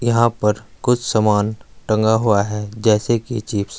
यहां पर कुछ सामान टंगा हुआ है जैसे की चिप्स --